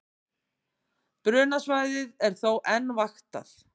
Brunasvæðið er þó enn vaktað